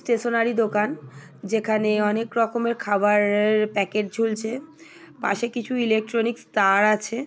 Stationery দোকান যেখানে অনেক রকমের খাবা রের প্যাকেট ঝুলছে পাশে কিছুই ইলেকট্রনিক্স তার আছে ।